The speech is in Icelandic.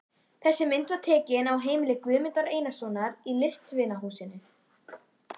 Þessi mynd var tekin á heimili Guðmundar Einarssonar í Listvinahúsinu.